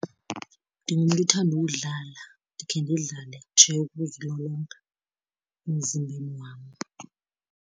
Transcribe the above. Ndingumntu othanda ukudlala. Ndikhe ndidlale nje ukuzilolonga emzimbeni wam.